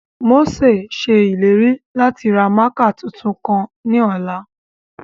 Mose ṣe ileri lati ra mạạkạ tuntun kan ni ọla.